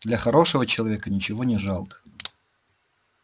для хорошего человека ничего не жалко